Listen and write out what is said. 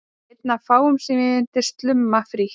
Einn af fáum sem ég myndi slumma frítt.